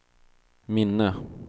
minne